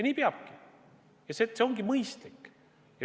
Nii peabki olema ja see on mõistlik.